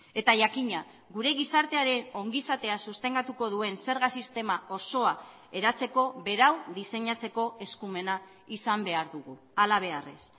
eta jakina gure gizartearen ongizatea sostengatuko duen zerga sistema osoa eratzeko berau diseinatzeko eskumena izan behar dugu halabeharrez